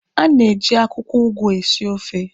A na-eji akwụkwọ ụgụ esi ofe